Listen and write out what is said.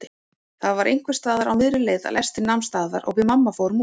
Það var einhversstaðar á miðri leið að lestin nam staðar og við mamma fórum út.